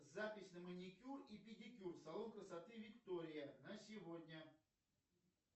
запись на маникюр и педикюр салон красоты виктория на сегодня